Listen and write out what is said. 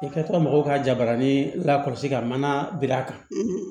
I ka to mɔgɔw ka jabarani la kɔlɔsi ka mana bir'a kan